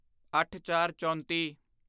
ਅੱਠਚਾਰਚੌਂਤੀ